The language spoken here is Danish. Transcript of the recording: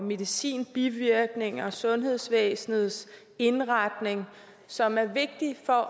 medicinbivirkninger og sundhedsvæsenets indretning som er vigtige for